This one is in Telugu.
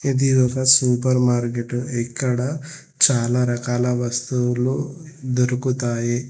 ఇది ఒక సూపర్ మార్కెట్ ఇక్కడ చాలా రకాల వస్తువులు దొరుకుతాయి.